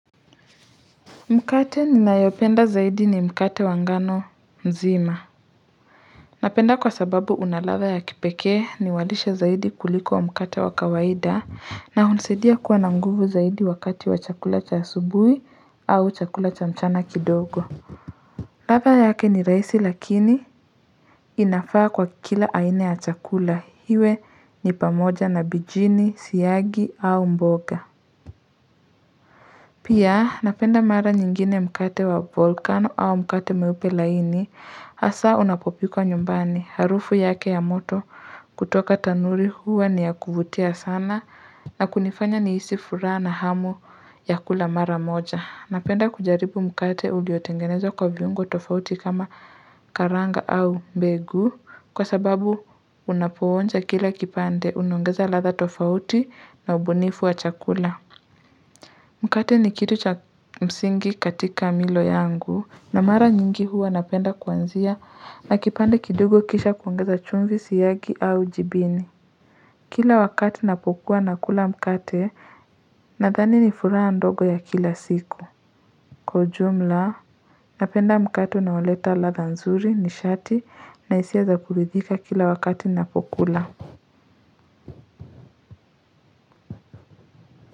Mkate ninayopenda zaidi ni mkate wa ngano mzima Napenda kwa sababu una ladha ya kipekee ni walishe zaidi kuliko wa mkate wa kawaida na hunisaidia kuwa na nguvu zaidi wakati wa chakula cha asubuhi au chakula cha mchana kidogo ladha yake ni rahisi lakini inafaa kwa kila aina ya chakula iwe ni pamoja na bijini siagi au mboga Pia napenda mara nyingine mkate wa volkano au mkate meupe laini hasa unapopikwa nyumbani harufu yake ya moto kutoka tanuri huwa ni ya kuvutia sana na kunifanya nihisi furaha na hamu ya kula mara moja. Napenda kujaribu mkate uliotengenezwa kwa viungo tofauti kama karanga au mbegu kwa sababu unapoonja kila kipande unaongeza ladha tofauti na ubunifu wa chakula. Mkate ni kitu cha msingi katika milo yangu na mara nyingi huwa napenda kuanzia na kipande kidogo kisha kuongeza chumvi siagi au jibini Kila wakati napokuwa nakula mkate nadhani nifuraha ndogo ya kila siku Kwa ujumla napenda mkate unaoleta ladha nzuri nishati na hisia za kuridhika kila wakati napokula.